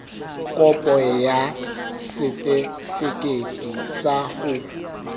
kopo ya setefikeiti sa ho